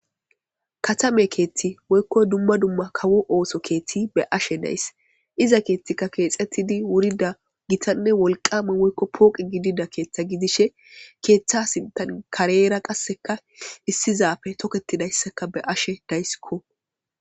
katame keethti woykko dumma dumma kawo ooso keethti be ashe nays iza keethtika keexettidi wurida gitanne wolqame woykko pooqi gidida keeththa gidishe keeththa sintan kareera qasseka issizafe toketidayssaka be ashe daysikko